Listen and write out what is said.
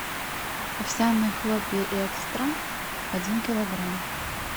овсяные хлопья экстра один килограмм